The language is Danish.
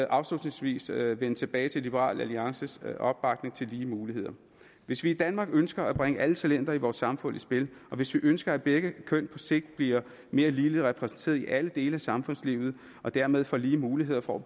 afslutningsvis vende tilbage til liberal alliances opbakning til lige muligheder hvis vi i danmark ønsker at bringe alle talenter i vores samfund i spil og hvis vi ønsker at begge køn på sigt bliver mere ligeligt repræsenteret i alle dele af samfundslivet og dermed får lige muligheder for